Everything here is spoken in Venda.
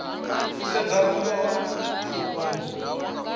u sedza vhungoho ha mafhungo